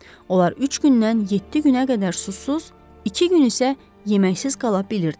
Onlar üç gündən yeddi günə qədər susuz, iki gün isə yeməksiz qala bilirdilər.